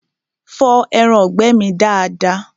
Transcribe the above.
Fọ ẹraǹgbẹ́ mi dada!